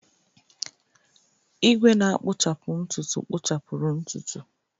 Igwe na-akpuchapu ntutu kpụchapuru ntutu.